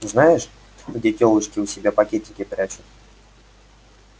знаешь где тёлочки у себя пакетики прячут